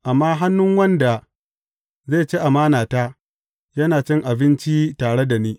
Amma hannun wanda zai ci amanata, yana cin abincin tare da ni.